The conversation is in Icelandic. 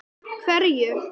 Berghildur: Hverju?